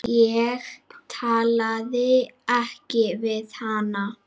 Ég talaði ekki við hana.